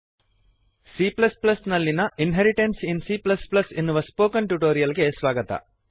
C ನಲ್ಲಿಯ inheritance in C inheritance in ಸಿಎ ಎನ್ನುವ ಸ್ಪೋಕನ್ ಟ್ಯುಟೋರಿಯಲ್ ಗೆ ಸ್ವಾಗತ